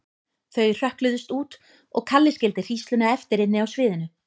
Þau hrökkluðust út og Kalli skildi hrísluna eftir inni á sviðinu.